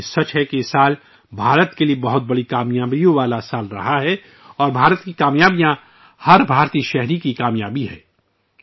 لیکن یہ بھی سچ ہے کہ یہ سال بھارت کے لیے بے پناہ کامیابیوں کا سال رہا ہے اور بھارت کی کامیابیاں ہر بھارتی کی کامیابی ہے